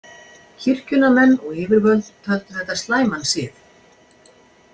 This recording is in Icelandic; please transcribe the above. Kirkjunnar menn og yfirvöld töldu þetta slæman sið.